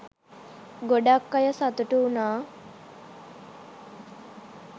ගොඩක් අය සතුටු වුනා